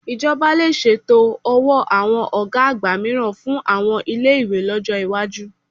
Ìjọba lè ṣètò ọ̀wọ́ àwọn ògá àgbà mìíràn fún àwọn ilé-ìwé lọ́jọ́ ìwájú